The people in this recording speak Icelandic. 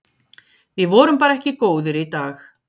Við vorum bara ekki góðir í dag.